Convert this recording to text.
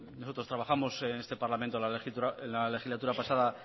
nosotros trabajamos en este parlamento en la legislatura pasada